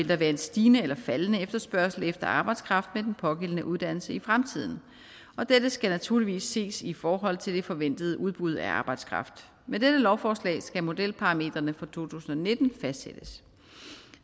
vil være en stigende eller faldende efterspørgsel efter arbejdskraft med den pågældende uddannelse i fremtiden og dette skal naturligvis ses i forhold til det forventede udbud af arbejdskraft med dette lovforslag skal modelparametrene for to tusind og nitten fastsættes